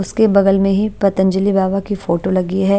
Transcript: उसके बगल में ही पतंजलि बाबा की फोटो लगी है।